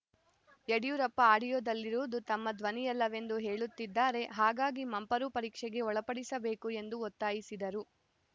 ಯಡಿಯೂರಪ್ಪ ಆಡಿಯೋದಲ್ಲಿರುವುದು ತಮ್ಮ ಧ್ವನಿಯಲ್ಲವೆಂದು ಹೇಳುತ್ತಿದ್ದಾರೆ ಹಾಗಾಗಿ ಮಂಪರು ಪರೀಕ್ಷೆಗೆ ಒಳಪಡಿಸಬೇಕು ಎಂದು ಒತ್ತಾಯಿಸಿದರು